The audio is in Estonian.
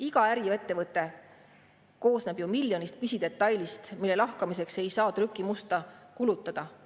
Iga äriettevõte koosneb ju miljonist pisidetailist, mille lahkamiseks ei saa trükimusta kulutada.